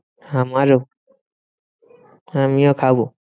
আমারও আমিও খাবো।